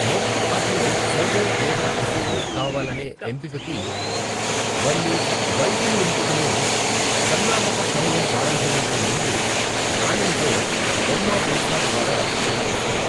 మొదటి ఆటలో సర్వర్ లేదా రిసీవర్ కావాలనే ఎంపిక కి మరియు వైపులు ఎంపికను సన్నాహక సమయం ప్రారంభమయ్యే ముందు నాణెం తో బొమ్మ బొరుసా ద్వారా నిర్ణయిస్తారు.